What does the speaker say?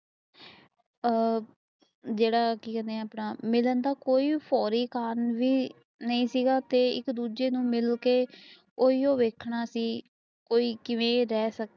ਆ ਜਿਹੜਾ ਕੇ ਕਦੇ ਹਾਂ ਆਪਣਾ, ਮਿਲਣ ਦਾ ਕੋਈ ਜਰੂਰੀ ਕੰਮ ਨਹੀਂ ਸੀ ਤੇ ਇਕ ਦੂਜੇ ਨੂੰ ਮਿਲਕੇ ਓਹੀ ਦੱਖਣਾ ਸੀ ਕੋਈ ਕਿਵੇਂ ਰਹਿ ਸਕਦਾ